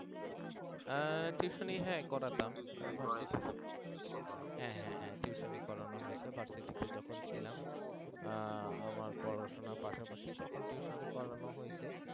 আহ tuition হ্যাঁ করাতাম হ্যাঁ হ্যাঁ tuition করানো হইছে versity যখন ছিলাম আহ আমার পড়াশোনার পাশাপাশি তখন tuition করানো হৈছে